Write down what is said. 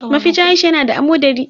Mafecin Aisha ya na da amodari.